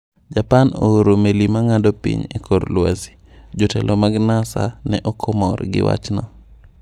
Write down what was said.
Japan ooro meli ma ng’ado piny e kor lwasi Jotelo mag Nasa ne ok mor gi wachno.